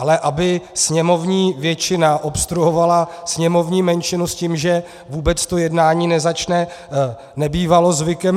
Ale aby sněmovní většina obstruovala sněmovní menšinu s tím, že vůbec to jednání nezačne, nebývalo zvykem.